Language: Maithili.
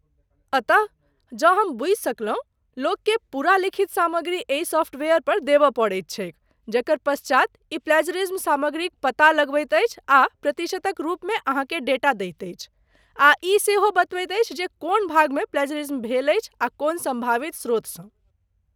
अतः, जँ हम सही बूझि सकलहुँ, लोककेँ पूरा लिखित सामग्री एहि सॉफ्टवेयर पर देबय पड़ैत छैक, जकर पश्चात ई प्लैज़रिज्म सामग्रीक पता लगबैत अछि आ प्रतिशतक रूपमे अहाँकेँ डेटा दैत अछि, आ ई सेहो बतबैत अछि जे कोन भागमे प्लैज़रिज्म भेल अछि आ कोन सम्भावित स्रोतसँ।